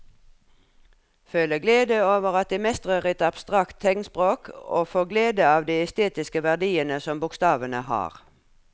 Føle glede over at de mestrer et abstrakt tegnspråk og få glede av de estetiske verdiene som bokstavene har.